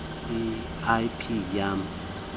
l p yali